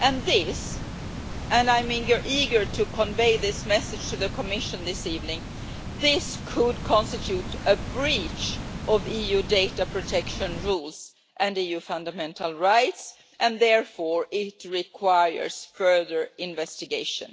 This and I am eager to convey this message to the Commission this evening could constitute a breach of EU data protection rules and EU fundamental rights and, therefore, it requires further investigation.